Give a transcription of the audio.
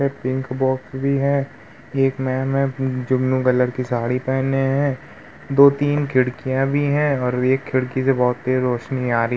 Pink box भी हैं। एक मेम है जो ब्लू कलर की साडी पेहने है। दो तीन खिड़कियाॅं भी हैं और एक खिड़की से बहुथी तेज रोशिनी आ र--